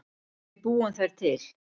Við búum þær til